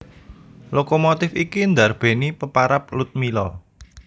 Lokomotif iki ndarbèni peparab Ludmilla